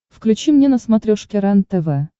включи мне на смотрешке рентв